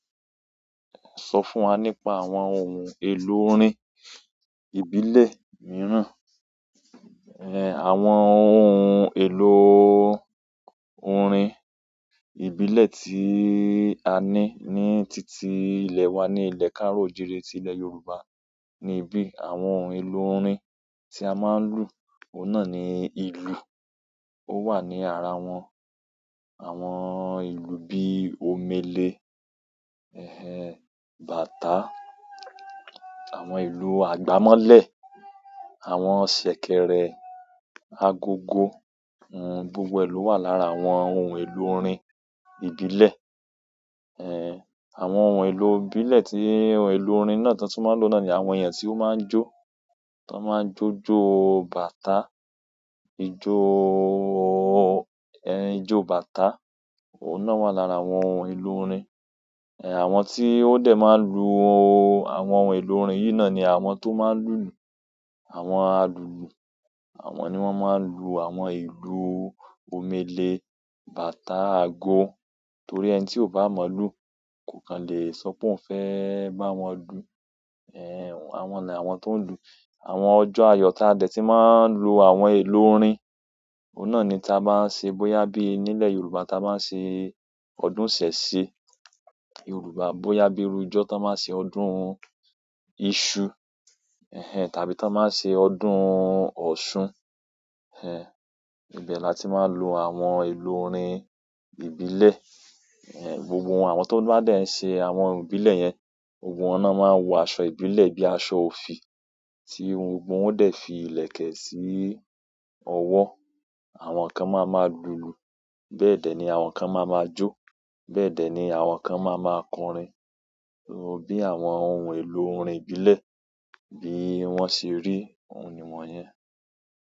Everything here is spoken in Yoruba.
Sọ fún wa nípa àwọn ohun èlò orin ìbílẹ̀ mìíràn. Àwọn ohun èlò orin ìbílẹ̀ tí a ní ní títí ilẹ̀ wa ni ilẹ̀ káàro oojiire ti ilẹ̀ Yorùbá ní ibí àwọn ohun èlò orin tí a máa ń lù, òun náà ni ìlù. Ó wà ní ara wọn, àwọn ìlù bí i omele, ẹhẹ́n, bàtà, àwọn ìlù àgbámọ́lẹ̀, àwọn ṣẹ̀kẹ̀rẹ̀ agogo, gbogbo è lò wà lára àwọn ohun èlò orin ìbílẹ̀. Àwọn ohun èlò ìbílẹ̀ tí ohun èlò orin náà tan tun máa ń lò náà ni àwọn eeyan tí ó máa ń jó, tan máa ń jó jó bàtà, ijó-o-o ijó bàtà, òun náà wà lára àwọn ohun èlò orin. Àwọn tí ó dẹ̀ máa ń lu àwọn ohun èlò orin yìí náà ni àwọn tó máa ń lùlù, àwọn alùlù. Àwọn ni won maa n lu àwọn ìlú omele, bàtà, ago torí ẹni tí ó bá mọ̀olù kò kan lè sọ pé òun fẹ́ bá wọn dù. Àwọn ni àwọn tó ń lù. Àwọn ọjọ́ ayọ̀ taa dẹ̀ ti máa ń lo àwọn èlò orin, òun náà ni táa bá ń ṣe bóyá bí i nílẹ̀ Yorùbá táa bá ń ṣe ọdún isese Yorùbá, bóyá bí iru ijọ tó máa ń ṣe ọdún iṣu, ẹhẹ́n tàbí tón máa ń ṣe ọdún ọ̀ṣun, ẹhẹ́n, ibẹ̀ la tí máa ń lo àwọn ohun èlò orin ìbílẹ̀. Gbogbo àwọn tó bá dẹ̀ ń ṣe àwọn ohun ìbílẹ̀ yẹn, gbogbo wọn ná máa ń wọ aṣọ ìbílẹ̀ bí i aṣọ òfì, tí gbogbo wọn ó dẹ̀ fi ìlẹ̀kẹ̀ sí ọwọ́. Àwọn kan máa máa lùlù, bẹ́ẹ̀ dẹ̀ ni àwọn kan máa máa jó, bẹ́ẹ̀dẹ̀ ni àwọn kan máa máa kọrin. So bí àwọn ohun èlò orin ìbílẹ̀ bí i wọ́n ṣe rí òun niwọn yẹn.